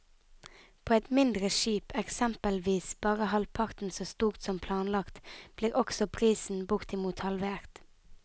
På et mindre skip, eksempelvis bare halvparten så stort som planlagt, blir også prisen bortimot halvert.